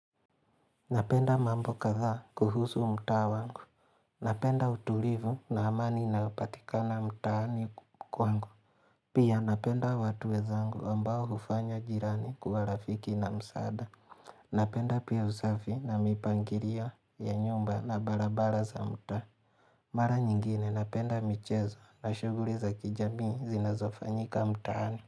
Napenda mambo kadhaa kuhusu mtaa wangu. Napenda utulivu na amani inayo patika na mtaani kwangu. Pia napenda watu wezangu ambao hufanya jirani kuwa rafiki na msaada. Napenda pia usafi na mipangiria ya nyumba na barabara za mtaa. Mara nyingine napenda michezo na shuguri za kijami zinazofanyika mtaani.